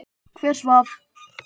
Hver svaf?